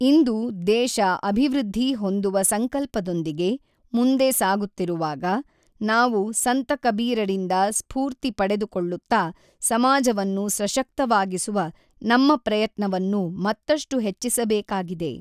ಇಂದು ದೇಶ ಅಭಿವೃದ್ಧಿ ಹೊಂದುವ ಸಂಕಲ್ಪದೊಂದಿಗೆ ಮುಂದೆ ಸಾಗುತ್ತಿರುವಾಗ, ನಾವು ಸಂತ ಕಬೀರರಿಂದ ಸ್ಫೂರ್ತಿ ಪಡೆದುಕೊಳ್ಳುತ್ತಾ, ಸಮಾಜವನ್ನು ಸಶಕ್ತವಾಗಿಸುವ ನಮ್ಮ ಪ್ರಯತ್ನವನ್ನು ಮತ್ತಷ್ಟು ಹೆಚ್ಚಿಸಬೇಕಾಗಿದೆ.